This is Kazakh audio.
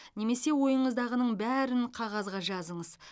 немесе ойыңыздағының бәрін қағазға жазыңыз